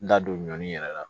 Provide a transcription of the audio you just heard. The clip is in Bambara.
N da don ɲɔnin yɛrɛ la